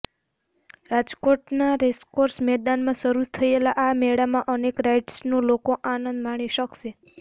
રાજકોટના રેસકોર્ષ મેદાનમાં શરૂ થયેલા આ મેળામાં અનેક રાઈડ્સનો લોકો આનંદ માણી શકશે